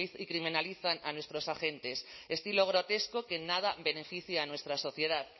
y criminalizan a nuestros agentes estilo grotesco que en nada beneficia a nuestra sociedad